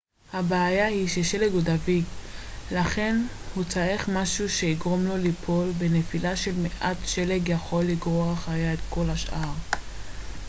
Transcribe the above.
הבעיה היא ששלג הוא דביק לכן הוא צריך משהו שיגרום לו ליפול ונפילה של מעט שלג יכולה לגרור אחריה את כל השאר